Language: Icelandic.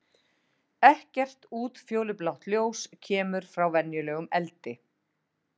Ekkert útfjólublátt ljós kemur frá venjulegum eldi.